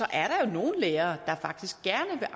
er der nogle lærere der faktisk gerne